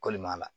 Kɔlimaa